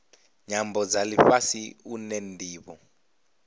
nyambo dza lifhasi une ndivho